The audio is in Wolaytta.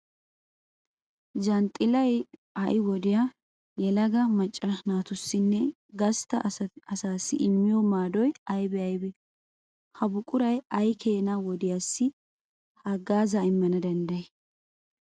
Zanxxilay ha"i wodiya Yelaga macca naatussinne gastta asaassi immiyo maadoy aybee aybee? Ha buquray ay keena wodiyassi haggaazaa immana danddayii?